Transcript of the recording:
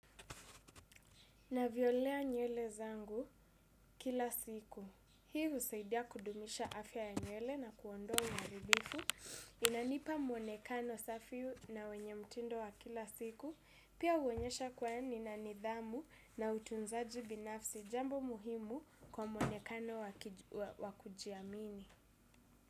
Navyolea nywele zangu kila siku. Hii husaidia kudumisha afya ya nywele na kuondoa uharibifu. Inanipa mwonekano safi na wenye mtindo wa kila siku. Pia huonyesha kuwa nina nidhamu na utunzaji binafsi jambo muhimu kwa mwonekano wakujiamini.